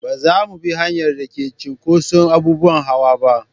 Ba za mu bi hanyar da ke da cinkoson abubuwan hawa ba.